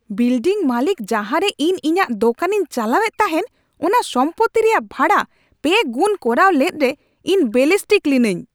Building ᱢᱟᱹᱞᱤᱠ ᱡᱟᱦᱟᱨᱮ ᱤᱧ ᱤᱧᱟᱹᱜ ᱫᱚᱠᱟᱱᱤᱧ ᱪᱟᱞᱟᱣᱮᱫ ᱛᱟᱦᱮᱱ ᱚᱱᱟ ᱥᱚᱢᱯᱚᱛᱛᱤ ᱨᱮᱭᱟᱜ ᱵᱷᱟᱲᱟ ᱯᱮ ᱜᱩᱱ ᱠᱚᱨᱟᱣ ᱞᱮᱫ ᱨᱮ ᱤᱧ ᱵᱮᱞᱤᱥᱴᱤᱠ ᱞᱤᱱᱟᱹᱧ ᱾